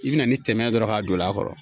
I bɛna ni tɛmɛ ye dɔrɔn k'a don a kɔrɔ